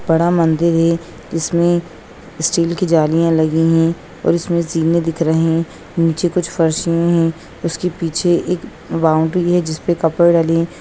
बड़ा मंदिर है जिसमें स्टील की जालियां लगी हुई है और इसमें जीने दिख रहे हैं नीचे कुछ फरशियाँ हैं उसके पीछे एक बाउंड्री है जिस पर कपड़े डले हैं।